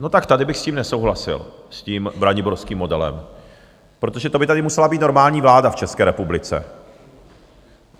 No, tak tady bych s tím nesouhlasil, s tím braniborským modelem, protože to by tady musela být normální vláda v České republice.